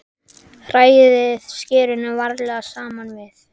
Hrærið skyrinu varlega saman við.